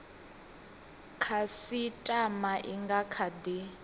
khasitama i nga kha di